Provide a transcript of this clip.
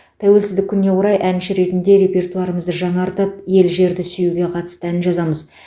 тәуелсіздік күніне орай әнші ретінде репертуарымызды жаңартып ел жерді сүюге қатысты ән жазамыз